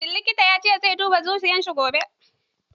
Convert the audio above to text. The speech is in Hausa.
Shin likitan ya ce zai duba zuciyar shi gobe?